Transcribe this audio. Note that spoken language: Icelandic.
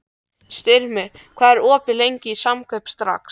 Styrmir, hvað er opið lengi í Samkaup Strax?